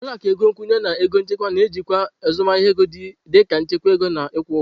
Ụlọ akụ ego nkwụnye na ego nchekwa na-ejikwa azụmahịa ego dị ka nchekwa ego na ịkwụ ụgwọ.